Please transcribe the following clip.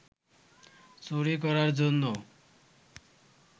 চুরি করার জন্য